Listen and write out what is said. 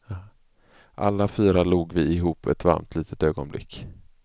Alla fyra log vi ihop ett varmt litet ögonblick.